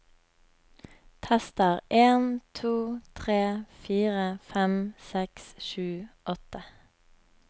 Tester en to tre fire fem seks sju åtte